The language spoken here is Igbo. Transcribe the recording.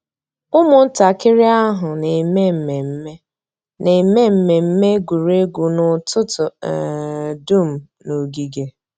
Ụ́mụ̀ntàkìrì àhụ̀ nà-èmé mmẹ̀mmẹ̀ nà-èmé mmẹ̀mmẹ̀ ègwè́ré́gwụ̀ n'ụ́tụ̀tụ̀ um dùm n'ògìgè.